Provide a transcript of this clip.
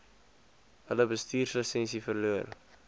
hulle bestuurslisensie verloor